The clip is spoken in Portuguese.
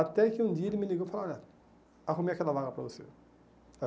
Até que um dia ele me ligou e falou, olha, arrumei aquela vaga para você.